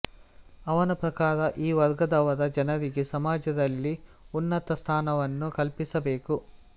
ಅವನ ಪ್ರಕಾರ ಈ ವರ್ಗದವರ ಜನರಿಗೆ ಸಮಾಜದಲ್ಲಿ ಉನ್ನತ ಸ್ಥಾನವನ್ನು ಕಲ್ಪಿಸಬೇಕು